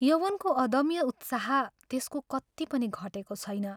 यौवनको अदम्य उत्साह त्यसको कत्ति पनि घटेको छैन।